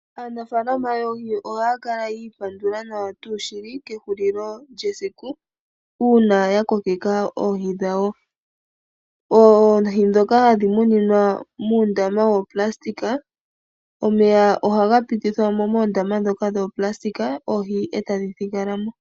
Aanafalama yoohi oha kala yi ipandula nawa tuu shili kehulilo lyesiku. Una ya kokeka oohi dhawo. Oohi dhoka hadhi muninwa muundama wuplastic. Omeya ohaga pitithwa mo moondama dhoka dhoplastic oohi etadhi thigalamo.